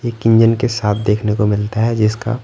एक इंजन के साथ देखने को मिलता है जिसका--